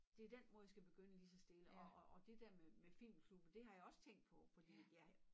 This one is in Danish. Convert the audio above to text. Det den måde jeg skal begynde lige så stille og og og det dér med med filmklubben det har jeg også tænkt på fordi at jeg